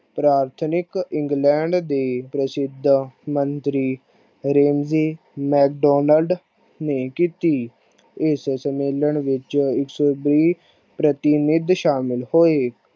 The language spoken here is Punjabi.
ਪ੍ਰਾਥਮਿਕ ਇੰਗਲੈਂਡ ਦੇ ਪ੍ਰਸਿੱਧ ਮੰਤਰੀ ਨੇ ਕਿੱਤੀ ਇਸ ਸੰਮੇਲਨ ਵਿੱਚ ਇਕ ਸੋ ਬੀਹ ਪ੍ਰਤਿਮਿੱਧ ਸ਼ਾਮਲ ਹੋਏ ।